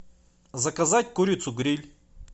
заказать курицу гриль